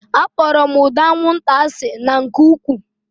Akpọrọ m ụda anwụnta asị na nke ụkwụụ